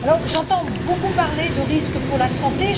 J'entends beaucoup parler de risques pour la santé.